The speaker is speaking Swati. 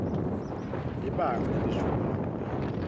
libanga lelishumi nakubili